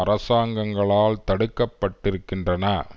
அரசாங்கங்களால் தடுக்கப்பட்டிருக்கின்றன